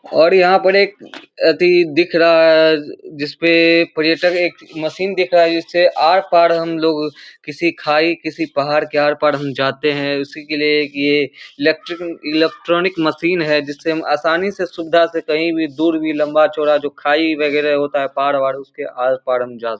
और यहाँ पर एक अति दिख रहा है जिसपे पर्यटन एक मशीन दिख रहा है जिससे आर पार हम लोग किसी खाई किसी पहाड़ के आर पार हम जाते हैं उसी के लिए एक ये इलेक्ट्रिक इलेक्ट्रॉनिक मशीन है जिससे हम आसानी से सुविधा से कहीं भी दूर भी लम्बा चौड़ा जो खाई वगैरा होता है पहाड़ वहाड़ उसके आर पार हम जा --